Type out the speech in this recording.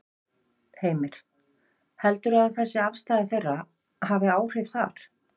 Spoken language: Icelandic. Heimir: Heldurðu að þessi afstaða þeirri hafi áhrif þar?